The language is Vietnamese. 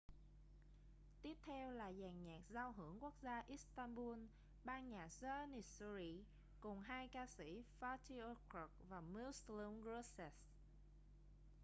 tiếp theo là dàn nhạc giao hưởng quốc gia istanbul ban nhạc janissary cùng hai ca sĩ fatih erkoç và müslüm gürses